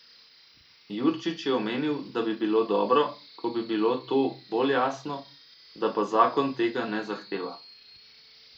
Jurčič je omenil, da bi bilo dobro, ko bi bilo to bolj jasno, da pa zakon tega ne zahteva.